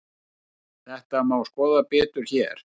Þetta má skoða betur hér.